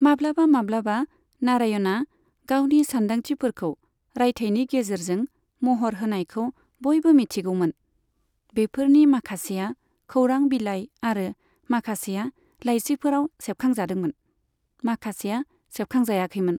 माब्लाबा माब्लाबा नारायणआ गावनि सानदांथिफोरखौ रायथायनि गेजेरजों महर होनायखौ बयबो मिथिगौमोन, बेफोरनि माखासेआ खौरां बिलाइ आरो माखासेआ लाइसिफोराव सेबखांजादोंमोन, माखासेया सेबखांजायाखैमोन।